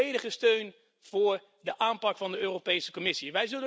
Dus, volledige steun voor de aanpak van de Europese Commissie.